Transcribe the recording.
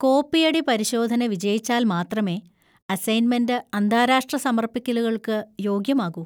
കോപ്പിയടി പരിശോധന വിജയിച്ചാൽ മാത്രമേ അസൈൻമെന്റ് അന്താരാഷ്ട്ര സമർപ്പിക്കലുകൾക്ക് യോഗ്യമാകൂ.